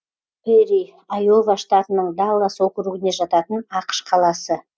пэрри айова штатының даллас округіне жататын ақш қаласы